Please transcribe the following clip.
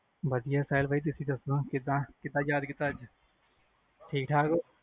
ਵਧਿਆ ਸਾਹਿਲ ਬਾਈ ਤੁਸੀ ਦੱਸੋ ਕਿੱਦਾਂ? ਕਿੱਦਾਂ ਯਾਦ ਕੀਤਾ ਅੱਜ , ਠੀਕ ਠਾਕ ਓ?